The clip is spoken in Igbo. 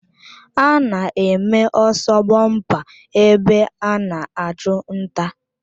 Ana-eme ọsọ bọmpa ebe ana achụ nta.